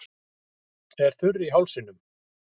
Er þurr í hálsinum.